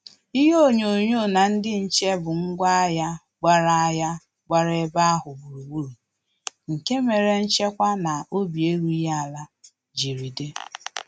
Ihe onyonyo na ndị nche bụ ngwa agha gbara agha gbara ebe ahụ gburugburu, nke mere nchekwa na obi erughị ala jiri di